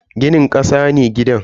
Ginin kasa ne gidan.